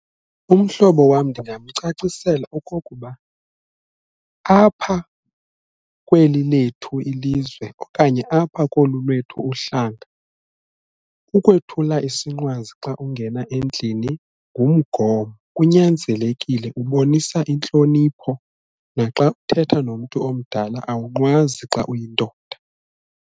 Umhlobo wam ndingamcacisela okokuba apha kweli lethu ilizwe okanye apha kolu lwethu uhlanga ukwethula isinqwazi xa ungena endlini ngumgomo kunyanzelekile kubonisa intlonipho, naxa uthetha nomntu omdala awunqwazi xa uyindoda.